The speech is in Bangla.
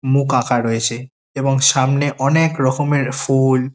মুখ আঁকা রয়েছে এবং সামনে অনেক রকমের ফু-উল --